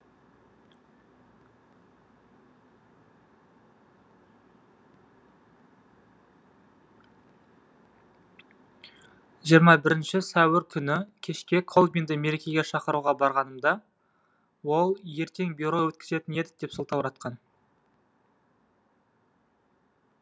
жиырма бірінші сәуір түні кешке колбинді мерекеге шақыруға барғанымда ол ертең бюро өткізетін едік деп сылтауратқан